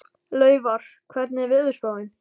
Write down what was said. Laufar, hvernig er veðurspáin?